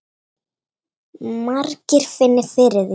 Margir finni fyrir því.